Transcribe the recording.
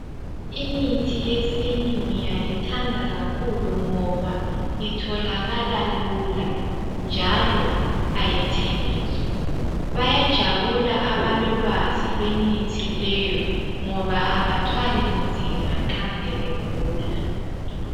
Imithi yesintu ngiyayithanda kakhulu ngoba itholakala lula, njalo ayithengiswa. Bayajabula abalolwazi lwemithi leyo, ngoba abathwalinzima nxasebegula.